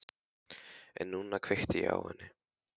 En núna kveikti ég í henni.